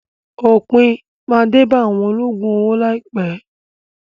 Òpin máa dé bá àwọn olóògùn owó láìpẹ́.